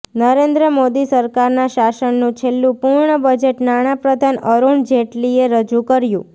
નરેન્દ્ર મોદી સરકારના શાસનનું છેલ્લું પૂર્ણ બજેટ નાણાપ્રધાન અરૂણ જેટલીએ રજૂ કર્યું